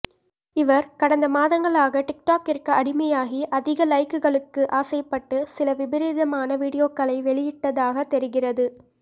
இவர் கடந்த மாதங்களாக டிக்டாக்கிற்கு அடிமையாகி அதிக லைக்குகளுக்கு ஆசைப்பட்டு சில விபரீதமான வீடியோக்களை வெளியிட்டதாக தெரிகிறது